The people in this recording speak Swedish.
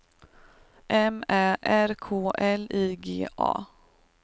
M Ä R K L I G A